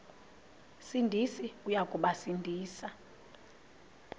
sindisi uya kubasindisa